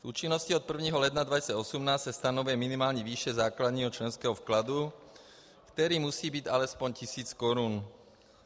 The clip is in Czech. S účinností od 1. ledna 2018 se stanovuje minimální výše základního členského vkladu, který musí být alespoň tisíc korun.